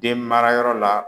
Den marayɔrɔ la